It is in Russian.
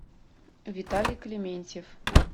виталий клементьев